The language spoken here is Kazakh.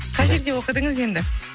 қай жерде оқыдыңыз енді